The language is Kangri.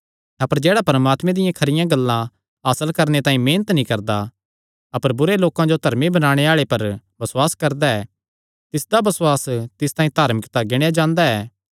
अपर जेह्ड़ा परमात्मे दियां खरियां गल्लां हासल करणे तांई मेहनत नीं करदा अपर बुरे लोकां जो धर्मी बणाणे आल़े पर बसुआस करदा ऐ तिसदा बसुआस तिस तांई धार्मिकता गिणेया जांदा ऐ